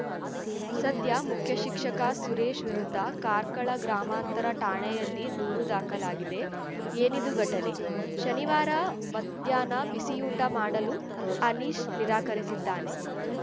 ಸದ್ಯ ಮುಖ್ಯಶಿಕ್ಷಕ ಸುರೇಶ್‌ ವಿರುದ್ಧ ಕಾರ್ಕಳ ಗ್ರಾಮಾಂತರ ಠಾಣೆಯಲ್ಲಿ ದೂರು ದಾಖಲಾಗಿದೆ ಏನಿದು ಘಟನೆ ಶನಿವಾರ ಮಧ್ಯಾಹ್ನ ಬಿಸಿಯೂಟ ಮಾಡಲು ಅನೀಶ್‌ ನಿರಾಕರಿಸಿದ್ದಾನೆ